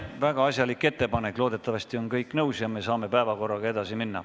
Väga asjalik ettepanek, loodetavasti on kõik nõus ja me saame päevakorraga edasi minna.